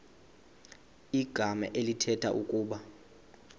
igama elithetha ukuba